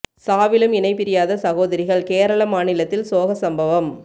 சாவிலும் இணை பிரியாத சகோதரிகள் கேரள மாநிலத்தில் சோக சம்பவம்